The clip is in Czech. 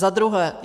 Za druhé.